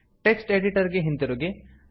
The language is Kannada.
ಟೆಕ್ಸ್ಟ್ ಎಡಿಟರ್ ಗೆ ಹಿಂತಿರುಗಿ